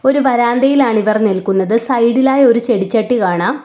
ഒരു വരാന്തയിലാണിവർ നിൽക്കുന്നത് സൈഡ് ഇലായി ഒരു ചെടിച്ചട്ടി കാണാം.